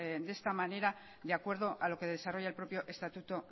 de esta manera de acuerdo a lo que desarrolla el propio estatuto